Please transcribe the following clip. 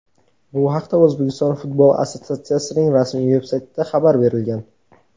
Bu haqda O‘zbekiston futbol assotsiatsiyasining rasmiy veb-saytida xabar berilgan.